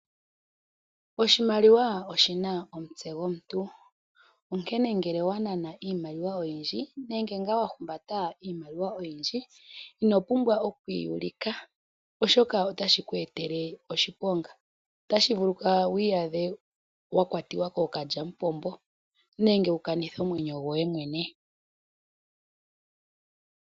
Oshimaliwa oshi na omutse gomuntu, onkene ngele owa nana iimaliwa oyindji, nenge ngaa wa humbata iimaliwa oyindji, ino pumbwa oku yi ulika oshoka ota shi ku etele oshiponga. Ota shi vulika wu iyadhe wa kwatiwa kookalyamupombo nenge wu kanithe omwenyo goye mwene.